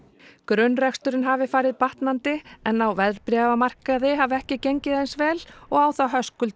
grunnreksturinn hafi farið batnandi en á verðbréfamarkaði hafi ekki gengið eins vel og á þá Höskuldur